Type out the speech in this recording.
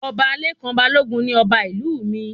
Ọba Lekan Balogun ní ọba ìlú mí